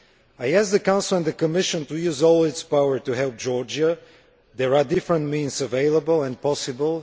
I ask the Council and the Commission to use all their powers to help Georgia. There are different means available and possible.